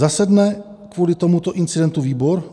Zasedne kvůli tomuto incidentu výbor?